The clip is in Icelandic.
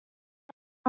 Bráðum verð ég hvítur.